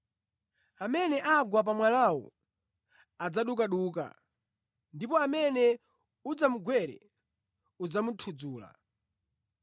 Amene agwa pa mwalawu adzadukaduka, ndipo amene udzamugwere udzamuthudzula.”